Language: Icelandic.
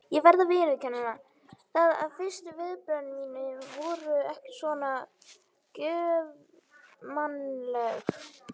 Ég verð að viðurkenna það að fyrstu viðbrögð mín voru ekki svona göfugmannleg.